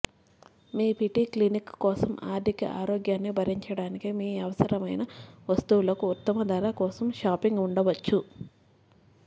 మీ PT clinic కోసం ఆర్థిక ఆరోగ్యాన్ని భరించడానికి మీ అవసరమైన వస్తువులకు ఉత్తమ ధర కోసం షాపింగ్ ఉండవచ్చు